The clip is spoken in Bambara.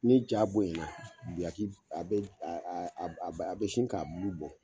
Ni jaa bonya na guyaki a bɛ a bɛ sin ka bulu bɔ.